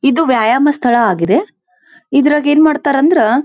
ಇದು ವ್ಯಾಯಾಮ ಸ್ಥಳ ಆಗಿದೆ ಇದ್ರಗೆ ಏನ್ ಮಾಡತರಂದ್ರ --